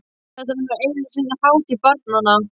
Þetta var nú einu sinni hátíð barnanna!